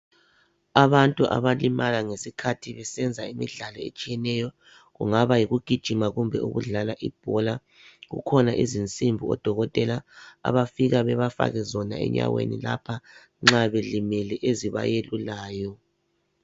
Abantu abalimala besenza imidlalo etshiyeneyo kungaba yikugijima kumbe ukudlala ibhola kukhona izinsimbi odokotela abafika bebafake zona enyaweni lapha nxa belimele ezibayelulayo